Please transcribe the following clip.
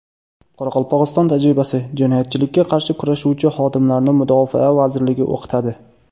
Qoraqalpog‘iston tajribasi: Jinoyatchilikka qarshi kurashuvchi xodimlarni Mudofaa vazirligi o‘qitadi.